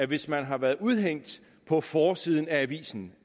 hvis man har været udhængt på forsiden af avisen